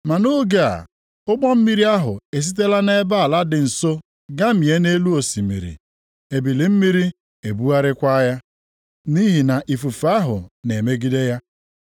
Ma nʼoge a ụgbọ mmiri ahụ esitela nʼebe ala dị nso gamie nʼelu osimiri, ebili mmiri na-ebugharịkwa ya, nʼihi na ifufe ahụ na-emegide ya.